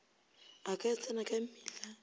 a ka tsena ka mmila